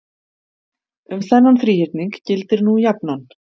Um þennan þríhyrning gildir nú jafnan